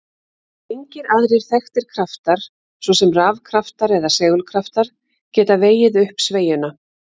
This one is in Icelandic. Engir aðrir þekktir kraftar, svo sem rafkraftar eða segulkraftar, geta vegið upp sveigjuna.